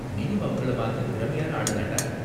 நீயும் அவங்கள மாதிரி திறமையான ஆளு தான்டா.